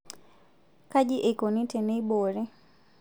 Kaji eikoni teneiboori.